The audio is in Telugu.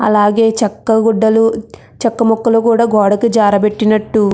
అలాగే చెక్క గుడ్డలు చెక్క ముక్కలు కూడా గోడకి జారబెట్టినట్టు --